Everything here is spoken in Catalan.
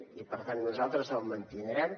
i per tant nosaltres el mantindrem